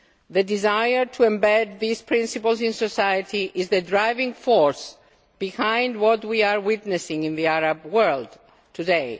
The desire to embed these principles in society is the driving force behind what we are witnessing in the Arab world today.